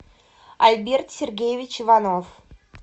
альберт сергеевич иванов